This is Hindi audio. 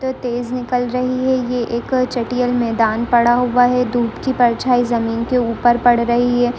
बहुत तेज़ निकल रही है ये एक चटियल मैदान पड़ा हुआ है धूप की परछाई जमीन के ऊपर पड़ रही है।